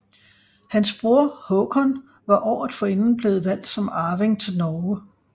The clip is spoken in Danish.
Hans bror Håkon var året forinden blevet valgt som arving til Norge